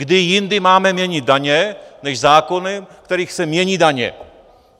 Kde jindy máme měnit daně, než zákony, v kterých se mění daně?